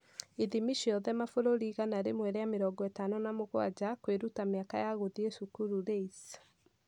Ithimi ciothe (mabũrũri igana rĩmwe rĩa mĩrongo ĩtano na mũgwanja) Kwĩruta - Mĩaka ya Gũthiĩ Cukuru (LAYS)